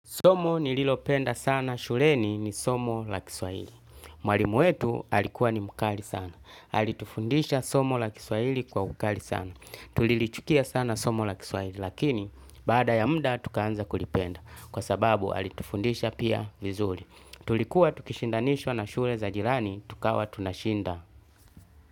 Somo nililopenda sana shuleni ni somo la kiswahili. Mwalimu wetu alikuwa ni mkali sana. Alitufundisha somo la kiswahili kwa ukali sana. Tulilichukia sana somo la kiswahili lakini baada ya muda tukaanza kulipenda. Kwa sababu alitufundisha pia vizuri. Tulikuwa tukishindanishwa na shule za jirani tukawa tunashinda.